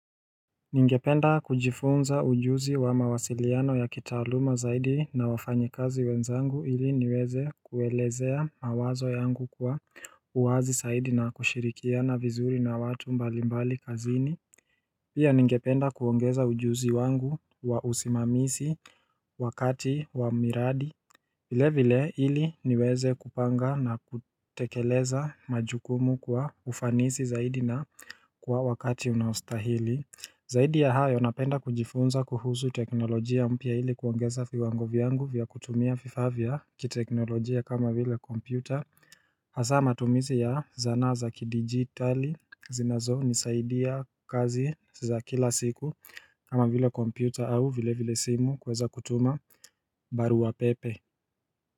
Ningependa kujifunza ujuzi wa mawasiliano ya kitaluma zaidi na wafanyekazi wenzangu ili niweze kuelezea mawazo yangu kwa uwazi saidi na kushirikia na vizuri na watu mbalimbali kazini Pia ningependa kuongeza ujuzi wangu wa usimamisi wakati wa miradi vile vile ili niweze kupanga na kutekeleza majukumu kwa ufanisi zaidi na kwa wakati unaostahili Zaidi ya hayo napenda kujifunza kuhuzu teknolojia mpya ili kuongeza viwango vyangu vya kutumia vifavya kiteknolojia kama vile kompyuta Hasaa matumizi ya zanaa za kidigitali zinazo nisaidia kazi za kila siku kama vile kompyuta au vile vile simu kweza kutuma baru wa pepe.